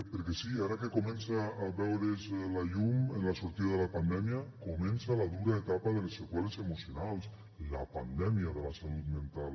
perquè sí ara que comença a veure’s la llum en la sortida de la pandèmia comença la dura etapa de les seqüeles emocionals la pandèmia de la salut mental